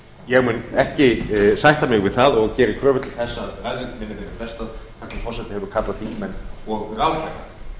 ég mun ekki sætta mig við það og geri kröfu til þess að ræðu minni verði